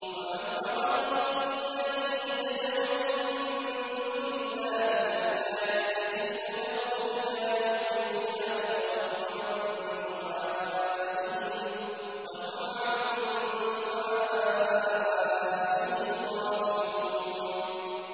وَمَنْ أَضَلُّ مِمَّن يَدْعُو مِن دُونِ اللَّهِ مَن لَّا يَسْتَجِيبُ لَهُ إِلَىٰ يَوْمِ الْقِيَامَةِ وَهُمْ عَن دُعَائِهِمْ غَافِلُونَ